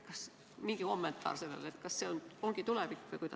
Palun kommenteerige, kas see ongi tulevik!